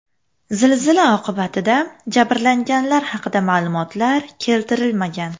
Zilzila oqibatida jabrlanganlar haqida ma’lumotlar keltirilmagan.